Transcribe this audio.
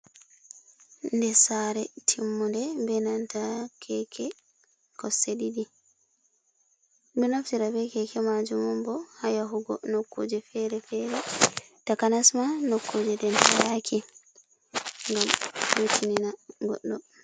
Der sare timmunde be nanta keke kosɗe ɗiɗi, ɓe ɗo naftira be keke majum un bo ha yahugo nokkuje fere fere takanasma nokkuje denhayaki gam hitinina goɗɗo.